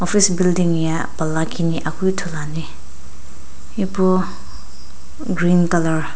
office building ye pala kini akeu ithuluani ipu green color .